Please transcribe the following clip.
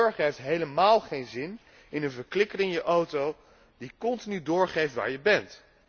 De burger heeft helemaal geen zin in een verklikker in je auto die continu doorgeeft waar je bent.